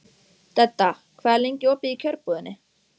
Dedda, hvað er lengi opið í Kjörbúðinni?